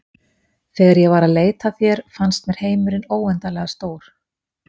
Þegar ég var að leita að þér fannst mér heimurinn óendanlega stór.